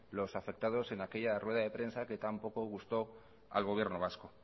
los afectados en aquella rueda de prensa que tan poco gustó al gobierno vasco